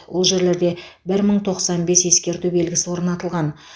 ол жерлерде бір мың тоқсан бес ескерту белгісі орнатылған